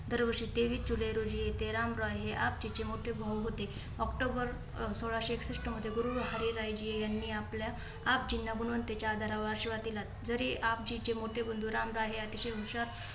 दर वर्षी तेवीस जुलै रोजी येते. रामराय हे आपजीचे मोठे भाऊ होते. ऑक्टोबर अं सोळाशे एकसष्ट मध्ये गुरु हरीरायजी यांनी आपल्या आपजीना गुणवत्तेच्या आधारावर आशीर्वाद दिला. जरी आपजीचे मोठे बंधू रामराय हे अतिशय हुशार